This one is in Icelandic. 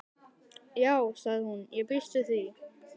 Já sagði hún, ég býst við því